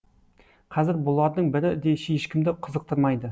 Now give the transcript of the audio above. қазір бұлардың бірі де ешкімді қызықтырмайды